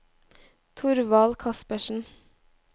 Thorvald Kaspersen